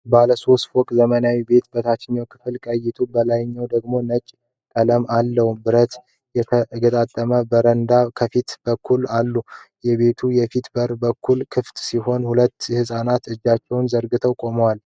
ባለ ሦስት ፎቅ ዘመናዊ ቤት በታችኛው ክፍል ቀይ ጡብ፣ በላይኛው ደግሞ ነጭ ቀለም አለው። ብረት የተገጠመባቸው በረንዳዎች ከፊት በኩል አሉ። የቤቱ የፊት በር በከፊል ክፍት ሲሆን፣ ሁለት ሕፃናት እጃቸውን ዘርግተው ቆመዋል።